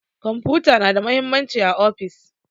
Kwamfuta na da mahimmanci a ofis.